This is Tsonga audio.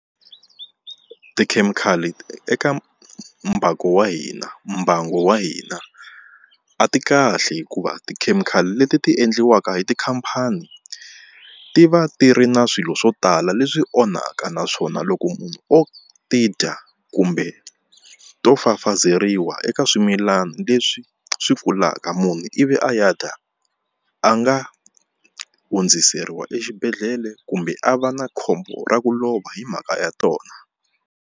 Tikhemikhali eka mbangu wa hina mbango wa hina a ti kahle hikuva tikhemikhali leti ti endliwaka hi tikhampani ti va ti ri na swilo swo tala leswi onhaka naswona loko munhu o ti dya kumbe to fafazeriwa eka swimilana leswi swi kulaka munhu ivi a ya dya a nga hundziseriwa exibedhlele kumbe a va na khombo ra ku lova hi mhaka ya tona.